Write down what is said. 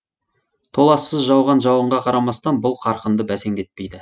толассыз жауған жауынға қарамастан бұл қарқынды бәсеңдетпейді